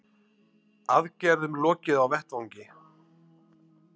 Aðgerðum lokið á vettvangi